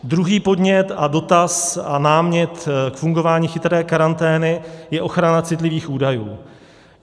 Druhý podnět a dotaz a námět k fungování chytré karantény je ochrana citlivých údajů.